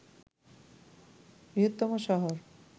বৃহত্তম শহর